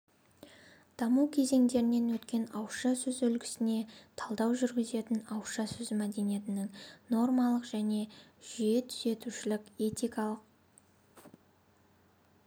даму кезеңдерінен өткен ауызша сөз үлгісіне талдау жүргізетін ауызша сөз мәдениетінің нормалық және жүйетүзушілік этикалық